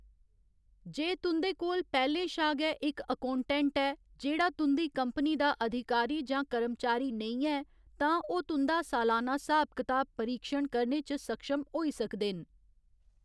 जे तुं'दे कोल पैह्‌लें शा गै इक अकौटेंट्ट ऐ जेह्‌‌ड़ा तुं'दी कंपनी दा अधिकारी जां कर्मचारी नेईं ऐ, तां ओह्‌‌ तुं'दा सालाना स्हाब कताब परीक्षण करने च सक्षम होई सकदे न।